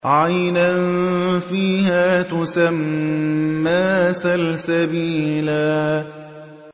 عَيْنًا فِيهَا تُسَمَّىٰ سَلْسَبِيلًا